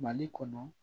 Mali kɔnɔ